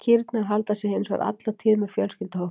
Kýrnar halda sig hins vegar alla tíð með fjölskylduhópnum.